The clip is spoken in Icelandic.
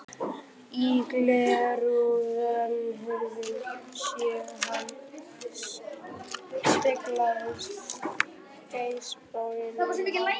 Í glerrúðu rennihurðarinnar sá hann speglast geislabauginn um hár sitt.